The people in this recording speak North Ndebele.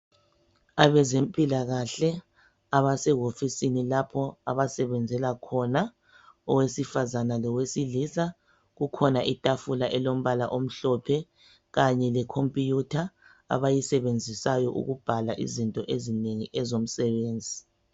Abezempilakahle abasewofisini lapho abasebenzela khona owesifazane lowesilisa. Kukhona itafula elilombala omhlophe kanye lekhomputha abayisebenzisayo ukubhala izinto ezinengi ezomsebenzi.